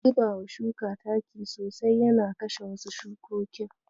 Zubawa shuka taki sosai yana kashe wasu shukokin.